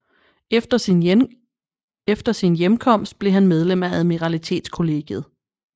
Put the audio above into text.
Efter sin hjemkomst blev han medlem af Admiralitetskollegiet